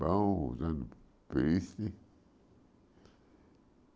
Bom, usando.